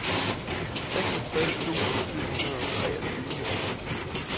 seksogtres tusind syv hundrede og treogtyve